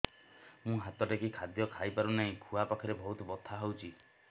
ମୁ ହାତ ଟେକି ଖାଦ୍ୟ ଖାଇପାରୁନାହିଁ ଖୁଆ ପାଖରେ ବହୁତ ବଥା ହଉଚି